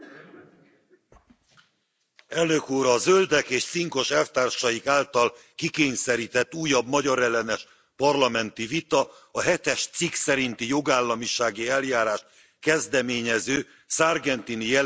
Tisztelt Elnök úr! A Zöldek és cinkos elvtársaik által kikényszerített újabb magyarellenes parlamenti vita a hetes cikk szerinti jogállamisági eljárást kezdeményező Sargentini jelentés egyenes folytatása.